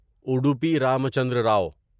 Udupi Ramachandra رو